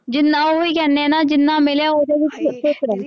ਜਿੰਨਾ ਉਹੀ ਕਹਿੰਦੇ ਆ ਨਾ ਜਿੰਨਾ ਮਿਲਿਆ ਉਹਦੇ ਵਿੱਚ ਖ਼ੁਸ਼ ਰਹੋ।